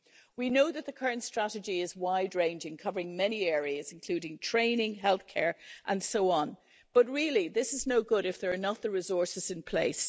We know that the current strategy is wide ranging, covering many areas including training, healthcare and so on, but really this is no good if there are not the resources in place.